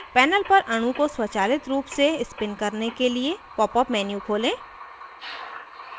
panel पर अणु को स्वचालित pop से spin करने के लिए popअप menu खोलें